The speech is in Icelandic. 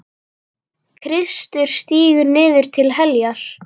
Kristur stígur niður til heljar.